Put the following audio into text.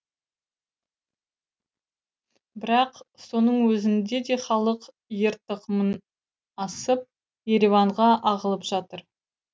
бірақ соның өзінде де халық ертықымын асып ереванға ағылып жатыр